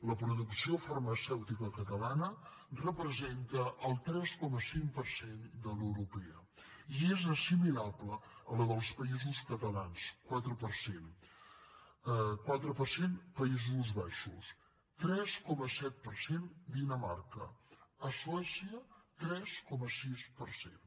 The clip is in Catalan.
la producció farmacèutica catalana representa el tres coma cinc per cent de l’europea i és assimilable a la dels països baixos quatre per cent quatre per cent països baixos tres coma set per cent dinamarca i a suècia tres coma sis per cent